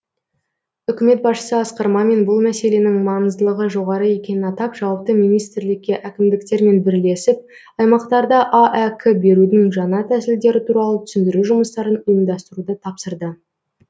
үкімет басшысы асқар мамин бұл мәселенің маңыздылығы жоғары екенін атап жауапты министрлікке әкімдіктермен бірлесіп аймақтарда аәк берудің жаңа тәсілдері туралы түсіндіру жұмыстарын ұйымдастыруды тапсырды